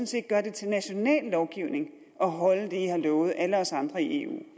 set gør det til national lovgivning at holde det i har lovet alle os andre i eu